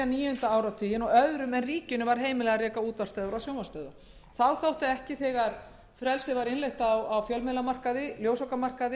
níunda áratuginn og öðrum en ríkinu var heimilað að reka útvarps og sjónvarpsstöðvar þegar frelsið var innleitt á ljósvakamarkaði